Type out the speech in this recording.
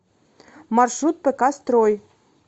маршрут пк строй